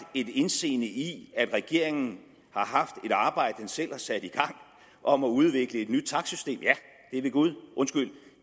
et indseende i at regeringen har haft et arbejde den selv har sat i gang om at udvikle et nyt takstsystem ja det ved gud undskyld